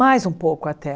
Mais um pouco até